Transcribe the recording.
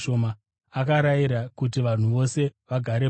Akarayira kuti vanhu vose vagare pasi.